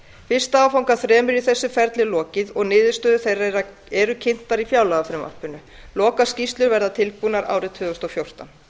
fyrsta áfanga af þremur í þessu ferli er lokið og niðurstöður þeirra eru kynntar í fjárlagafrumvarpinu lokaskýrslur verða tilbúnar árið tvö þúsund og fjórtán